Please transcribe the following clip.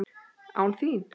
ÁN ÞÍN!?